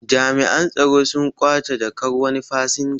Jami'an tsaro sun ƙwace jakkar wani fasinja